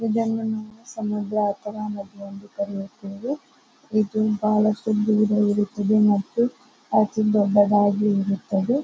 ಇದನ್ನು ನಾವು ಸಮುದ್ರ ಅಥವಾ ನದಿ ಎಂದು ಕರಿಯುತ್ತೇವೆ. ಇದು ಬಹಳಷ್ಟು ದೂರ ಇರುತ್ತದೆ ಮತ್ತು ಅತಿ ದೊಡ್ಡದಾಗಿ ಇರುತ್ತದೆ .